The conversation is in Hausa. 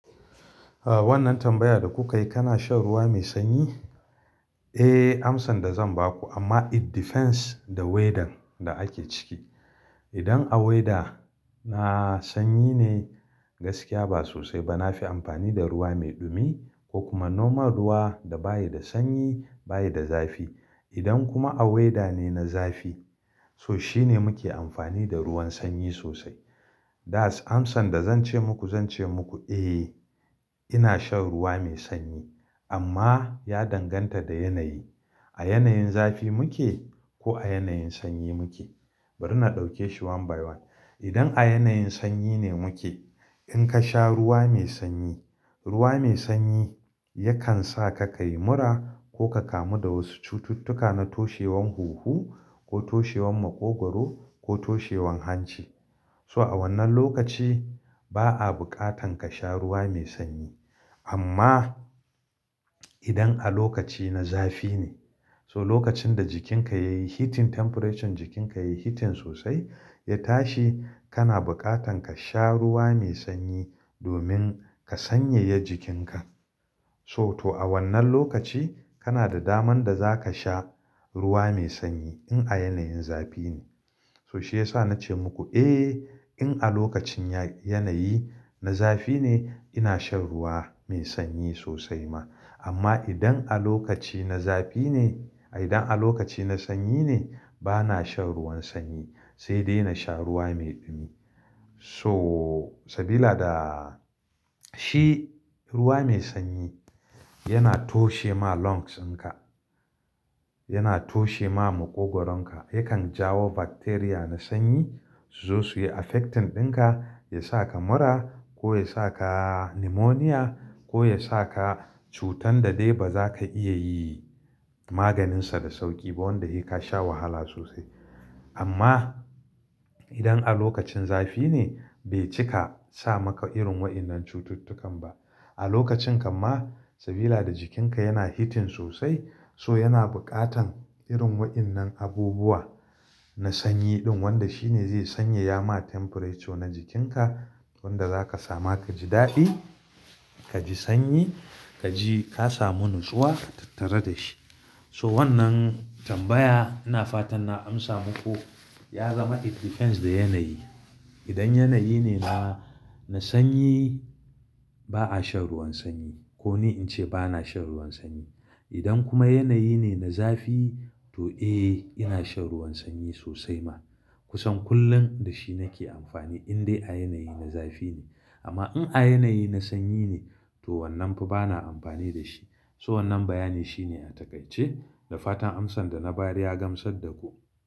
Ah wannan tambaya da kuka yi, kana shan ruwa mai sanyi? Eh amsan da zan ba ku amma it depends da weather da ake ciki. Idan a weather na sanyi ne gaskiya ba sosai ba. Na fi amfani da ruwa mai dumi ko kuma normal ruwa da baya da sanyi baya da zafi. Idan kuma a weather ne na zafi so shine muke amfani da ruwan sanyi sosai. That's amsan da zan ce muku, zan ce muku eh ina shan ruwa mai sanyi amma ya danganta da yanayi. A yanayin zafi muke ko a yanayin sanyi muke? Bari na ɗauke shi one by one. Idan a yanayin sanyi ne muke in ka sha ruwa mai sanyi, ruwa mai sanyi yakan sa ka kai mura ko ka kamu da wasu cututtuka na toshewan huhu ko toshewan maƙogwaro ko toshewan hanci. So a wannan lokaci ba a buƙatan ka sha ruwa mai sanyi. Amma idan a lokaci na zafi ne, so lokacin da jikinka yayi heating, temperature jikinka yayi heating sosai ya tashi kana buƙatan ka sha ruwa mai sanyi domin ka sanyaya jikinka. So to a wannan lokaci kana da daman da za ka sha ruwa mai sanyi in a yanayin zafi ne. So shi yasa na ce muku eh in a lokacin ya-yanayi na zafi ne ina shan ruwa mai sanyi sosai ma. Amma idan a lokaci na zafi ne, idan a lokaci na sanyi ne bana shan ruwan sanyi sai dai na sha ruwa mai dumi. So sabila da shi ruwa mai sanyi yana toshe ma lungs ɗinka, yana toshe ma maƙogwaro ka yakan jawo bacteria na sanyi su zo suyi affecting ɗinka, ya sa ka mura ko ya sa ka neumonia ko ya sa ka cutar da dai ba za ka iya yi maganinsa da sauƙi ba wanda kai ka sha wahala sosai. Amma idan a lokacin zafi ne bai cika sa maka irin waɗannan cututtukan ba. A lokacin kamma sabila da jikinka yana heating sosai so yana buƙatan irin waɗannan abubuwa na sanyi ɗin wanda shine zai sanyaya ma temperature na jikinka wanda za ka sami ka ji daɗi, ka ji sanyi, ka ji ka samu natsuwa tattare da shi. So wannan tambaya ina fatan na amsa muku ya zama it depends da yanayi. Idan yanayi ne na, na sanyi ba a shan ruwan sanyi. Ko ni in ce bana shan ruwan sanyi. Idan kuma yanayi ne na zafi to eh ina shan ruwan sanyi sosai ma. Kusan kullum da shi nake amfani in dai a yanayi na zafi ne. Amma in a yanayi na sanyi ne to wannan fa bana amfani da shi. So wannan bayani shine a takaice da fatan amsan da na bari ya gamsar da ku.